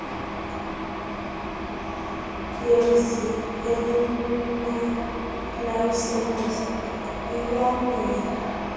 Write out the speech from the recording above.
yezio elinelayisenisi iyanela